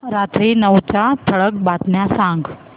रात्री नऊच्या ठळक बातम्या सांग